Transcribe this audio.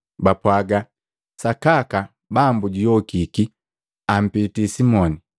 Bapwaga, “Sakaka Bambu juyokiki! Ampiti Simoni!”